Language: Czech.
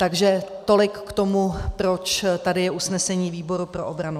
Takže tolik k tomu, proč tady je usnesení výboru pro obranu.